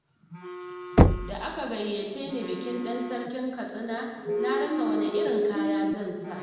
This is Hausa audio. Da aka gayyace ni bikin ɗan Sarkin Katsina, na rasa wane irin kaya zan saka.